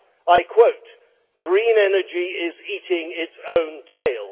I quote Green energy is eating its own tail'.